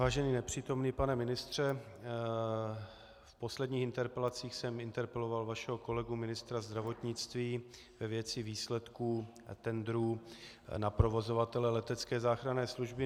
Vážený nepřítomný pane ministře, v posledních interpelacích jsem interpeloval vašeho kolegu ministra zdravotnictví ve věci výsledků tendrů na provozovatele letecké záchranné služby.